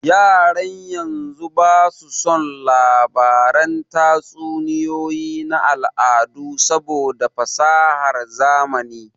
Yaran yanzu ba su son labaran tatsuniyoyi na al'adu saboda fasahar zamani